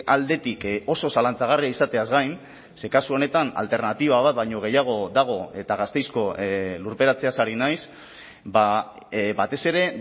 aldetik oso zalantzagarria izateaz gain ze kasu honetan alternatiba bat baino gehiago dago eta gasteizko lurperatzeaz ari naiz batez ere